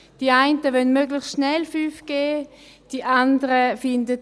Die einen wollen möglichst schnell 5G, die anderen finden: